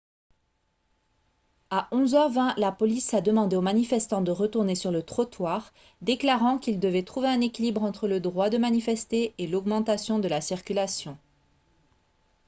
à 11 h 20 la police a demandé aux manifestants de retourner sur le trottoir déclarant qu'ils devaient trouver un équilibre entre le droit de manifester et l'augmentation de la circulation